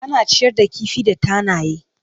Ana ciyar da kifi da tanaye.